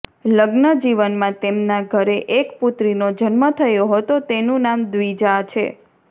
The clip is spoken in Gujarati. લગ્ન જીવનમાં તેમના દ્યરે એક પુત્રીનો જન્મ થયો હતો જેનું નામ દ્વીજા છે